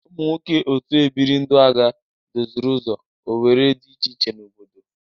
Ụmụ nwoke otu ebiri ndụaga doziri ụzọ owere dị iche iche n'obodo.